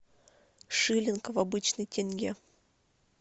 шиллинг в обычный тенге